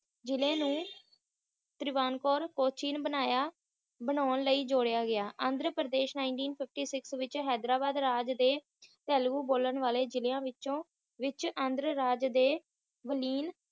ਜ੍ਹਿਲੇ ਨੂੰ ਤ੍ਰਿਵੈਨਕੋਰ ਕੋਚੀਨ ਬਨਾਇਆ ਬਣਾਉਣ ਲਈ ਜੋੜਿਆ ਗਿਆ Andhra Pradesh Nineteen fifty six ਵਿੱਚ ਹੈਦਰਾਬਾਦ ਰਾਜ ਦੇ ਤੇਲਗੂ ਬੋਲਣ ਵਾਲਿਆਂ ਜਿਲਿਆਂ ਵਿਚੋਂ ਵਿਚ ਆਂਧਰ ਰਾਜ ਦੇ ਵਲੀਨ